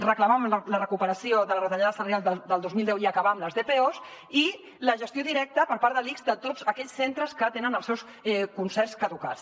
reclamàvem la recuperació de la retallada salarial del dos mil deu i acabar amb les dpos i la gestió directa per part de l’ics de tots aquells centres que tenen els seus concerts caducats